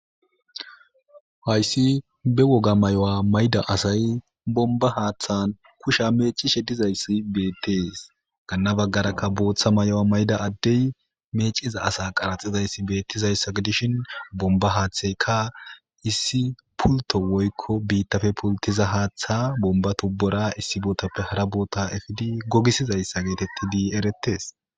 Hayssi be wogaa mayuwaa mayida asay bombba haaththan kushiya meeccishe dizayssa beeththees; ganna baggarakka booththa mayuwa mayida addee meecciza asaa qaratsizayssa gidishin bombba haaththeykka issi pulththo woykko biiththappe pulththiza haaththaa bombba tuubboora issi boothappe hara boothaa efidi gogissizayssa geetheththidi ereththes.